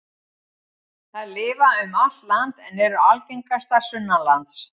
Þær lifa um allt land en eru algengastar sunnanlands.